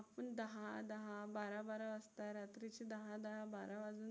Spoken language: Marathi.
आपण दहा-दहा, बारा-बारा वाजता रात्रीचे दहा-दहा बारा